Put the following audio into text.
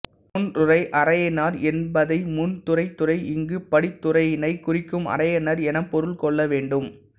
முன்றுறை அரையனார் என்பதை முன் துறை துறை இங்கு படித்துரையினைக் குறிக்கும் அரையனார் எனப்பொருள் கொள்ள வேண்டும்